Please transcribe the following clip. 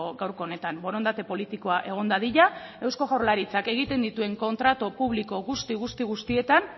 gaurko honetan borondate politikoa egon dadila eusko jaurlaritzak egiten dituen kontratu publiko guzti guzti guztietan